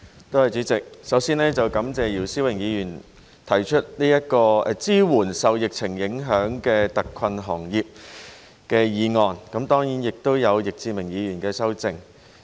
代理主席，首先感謝姚思榮議員提出"支援受疫情影響的特困行業"議案，以及易志明議員提出修正案。